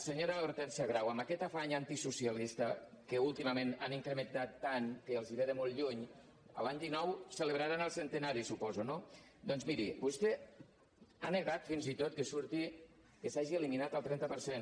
senyora hortènsia grau amb aquest afany antisocialista que últimament han incrementat tant que els ve de molt lluny l’any dinou celebraran el centenari suposo no doncs miri vostè ha negat fins i tot que s’hagi eliminat el trenta per cent